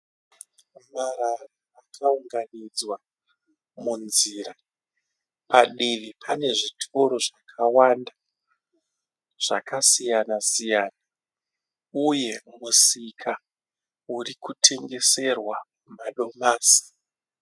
Marara akaunganidzwa munzira. Padivi pane zvitoro zvakawanda zvakasiyana-siyana uye musika uri kutengeserwa madomasi.